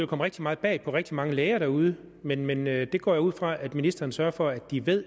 komme rigtig meget bag på rigtig mange læger derude men men jeg går ud fra at ministeren sørger for at de ved